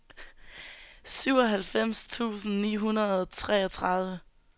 syvoghalvfems tusind ni hundrede og treogtredive